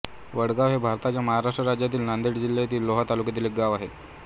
वडगाव हे भारताच्या महाराष्ट्र राज्यातील नांदेड जिल्ह्यातील लोहा तालुक्यातील एक गाव आहे